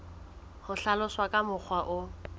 ka hlaloswa ka mokgwa o